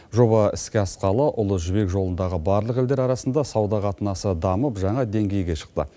жоба іске асқалы ұлы жібек жолындағы барлық елдер арасында сауда қатынасы дамып жаңа деңгейге шықты